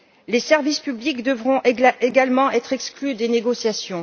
Les services publics devront également être exclus des négociations.